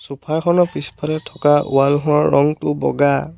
Sofa খনৰ পিছফালে থকা ৱাল খনৰ ৰংটো বগা।